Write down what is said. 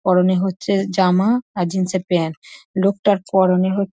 পরনে হচ্ছে জামা আর জিন্স এর প্যান্ট । লোকটার পরনে হ--